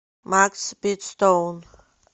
макс битстоун